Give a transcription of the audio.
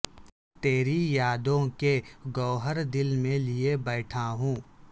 تری یادوں کے گوہر دل میں لئے بیٹھا ہوں